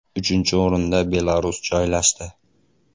Uchinchi o‘rinda Belarus joylashdi.